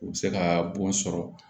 U bɛ se ka bon sɔrɔ